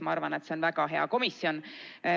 Ma arvan, et see on väga hea komisjon.